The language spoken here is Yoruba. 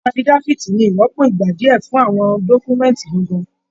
Afidafiti ní ìrọ́pò ìgbà díẹ fún àwọn dọkumẹ̀nti gángan.